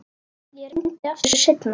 Ég reyni aftur seinna